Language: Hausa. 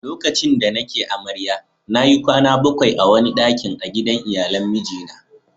lokacin da ni ke amarya na yi kwana bakwai a wani dakin a gidan iyalan miji na